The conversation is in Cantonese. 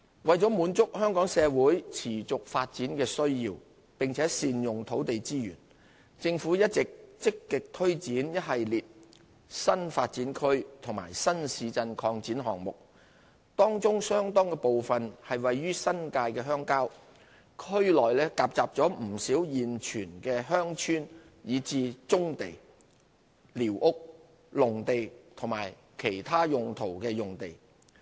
為滿足香港社會持續發展的需要並善用土地資源，政府一直積極推展一系列新發展區和新市鎮擴展項目，當中相當部分位於新界鄉郊，區內夾雜不少現存鄉村以至棕地、寮屋、農地及其他用途用地。